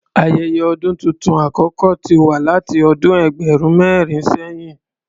Ayẹyẹ ọdún tuntun àkọ́kọ́ ti wà láti ọdún ẹgbẹ̀rún mẹ́rin sẹ̀yìn.